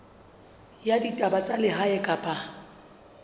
ya ditaba tsa lehae kapa